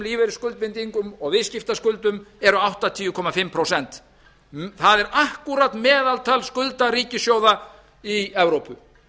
lífeyrisskuldbindingum og viðskiptaskuldum eru áttatíu komma fimm prósent það er akkúrat meðaltal skulda ríkissjóða í evrópu